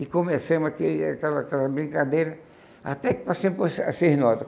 E começamos aquele aquela aquela brincadeira, até que passei para os as seis notas.